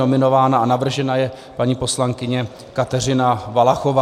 Nominována a navržena je paní poslankyně Kateřina Valachová.